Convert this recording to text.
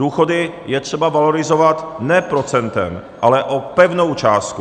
Důchody je třeba valorizovat ne procentem, ale o pevnou částku.